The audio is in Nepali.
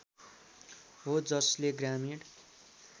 हो जसले ग्रामीण